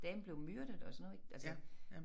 Dame blive myrdet og sådan noget ik altså